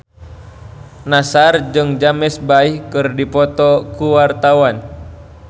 Nassar jeung James Bay keur dipoto ku wartawan